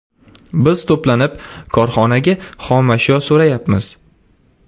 Biz to‘planib, korxonaga xomashyo so‘rayapmiz.